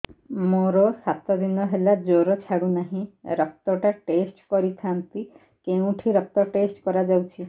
ମୋରୋ ସାତ ଦିନ ହେଲା ଜ୍ଵର ଛାଡୁନାହିଁ ରକ୍ତ ଟା ଟେଷ୍ଟ କରିଥାନ୍ତି କେଉଁଠି ରକ୍ତ ଟେଷ୍ଟ କରା ଯାଉଛି